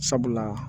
Sabula